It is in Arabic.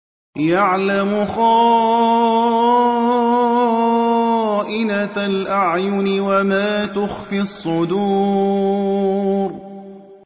يَعْلَمُ خَائِنَةَ الْأَعْيُنِ وَمَا تُخْفِي الصُّدُورُ